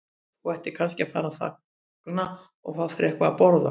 Þú ættir kannski að fara þangað og fá þér eitthvað að borða.